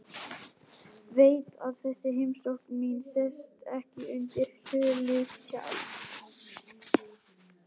Veit að þessi heimsókn mín sest ekki undir huliðshjálm.